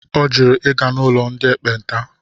Ọ jụrụ ịga n'ụlọ ndị ekpenta.